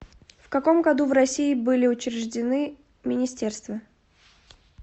в каком году в россии были учреждены министерства